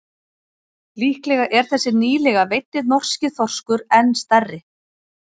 Líklega er þessi nýlega veiddi norski þorskur enn stærri.